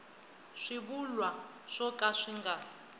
swivulwa swo ka swi nga